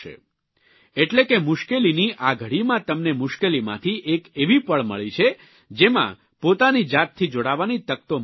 એટલે કે મુશ્કેલીની આ ઘડીમાં તમને મુશ્કેલીમાંથી એક એવી પળ મળી છે જેમાં પોતાની જાતથી જોડાવાની તક તો મળી છે જ